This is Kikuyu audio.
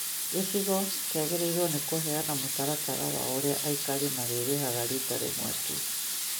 gĩcigo kĩagĩrĩirwo nĩ kũheana mũtaratara wa ũrĩa aikari marĩhaga rita rĩmwe tu